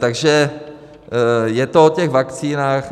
Takže je to o těch vakcínách.